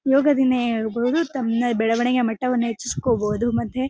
ಯೋಗ ದಿಂದ ಹೇಳ್ಬಹುದು ತಮ್ಮನೆ ಬೆಳವಣಿಗೆ ಮಟ್ಟ ವನ್ನು ಹೆಚ್ಚಿಸಕೊಳ್ಬಹುದು ಮತ್ತೆ --